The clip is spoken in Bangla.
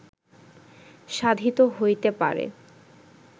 সাধিত হইতে পারে